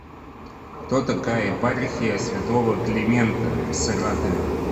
кто такая епархия святого климента в саратове